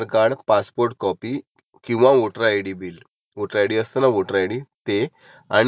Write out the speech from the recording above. तर ह्याच्यानंतर मग म्हणजे ह्या गोष्टी त्यार करून ठेवायच्या म्हणजे ऐन टाइमाला अडायला नको.